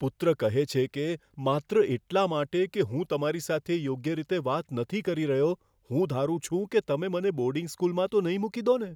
પુત્ર કહે છે કે, માત્ર એટલા માટે કે હું તમારી સાથે યોગ્ય રીતે વાત નથી કરી રહ્યો, હું ધારું છું કે તમે મને બોર્ડિંગ સ્કૂલમાં તો નહીં મૂકી દો ને?